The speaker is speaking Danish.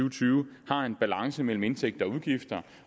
og tyve har en balance mellem indtægter og udgifter